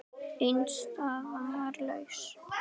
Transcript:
Ein staða var laus.